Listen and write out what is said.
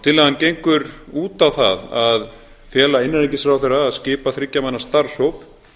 tillagan gengur út á það að fela innanríkisráðherra að skipa þriggja manna starfshóp